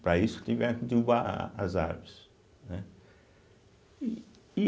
para isso tiveram que derrubar a as árvores, né. e